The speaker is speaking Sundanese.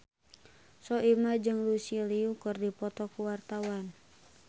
Soimah jeung Lucy Liu keur dipoto ku wartawan